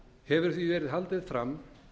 hefur því verið haldið fram